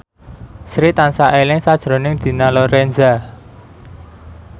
Sri tansah eling sakjroning Dina Lorenza